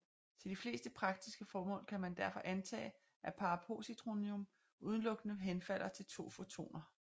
Til de fleste praktiske formål kan man derfor antage at parapositronium udelukkende henfalder til to fotoner